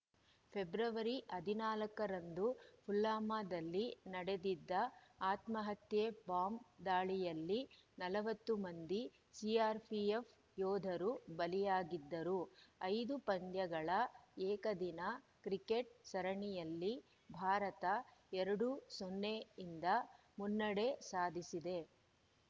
February ಹದಿನಾಲ್ಕು ರಂದು ಪುಲ್ವಾಮಾದಲ್ಲಿ ನಡೆದಿದ್ದ ಆತ್ಮಹತ್ಯೆ ಬಾಂಬ್ ದಾಳಿಯಲ್ಲಿ ನಲವತ್ತು ಮಂದಿ ಸಿಆರ್‌ಪಿಎಫ್ ಯೋಧರು ಬಲಿಯಾಗಿದ್ದರು ಐದು ಪಂದ್ಯಗಳ ಏಕದಿನ ಕ್ರಿಕೆಟ್ ಸರಣಿಯಲ್ಲಿ ಭಾರತ ಎರಡು ಸೊನ್ನೆ ಯಿಂದ ಮುನ್ನಡೆ ಸಾಧಿಸಿದೆ